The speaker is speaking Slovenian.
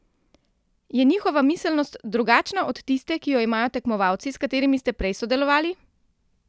Je njihova miselnost drugačna od tiste, ki jo imajo tekmovalci, s katerimi ste prej sodelovali?